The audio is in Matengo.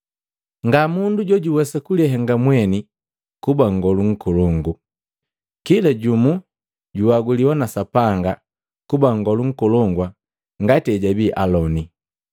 Nga mundu jojuwesa kulihenga mweni kuba nngolu nkolongu. Kila jumu juaguliwa na Sapanga kuba nngolu nkolongu ngati ejabii Aloni.